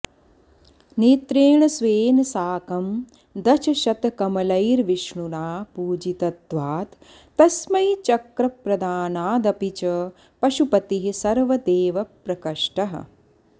नेत्रेण स्वेन साकं दशशतकमलैर्विष्णुना पूजितत्वात् तस्मै चक्रप्रदानादपि च पशुपतिः सर्वदेवप्रकृष्टः